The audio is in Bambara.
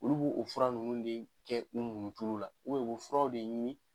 Olu b'o fura ninnu de kɛ u munitulu la u bɛ furaw de ɲini.